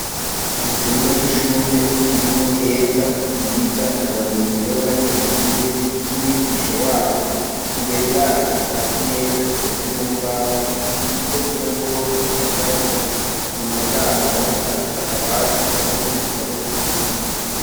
Icumba c'ishure kirimwo Keza, Bwiza na bagenzibe b'abanyeshure n'umwigisha wabo, imbere yabo hari imeza zikozwe mu mbaho ziriko inyabwonko zirabura, inyuma yabo naho hari akabati karimwo ibitabo vyinshi.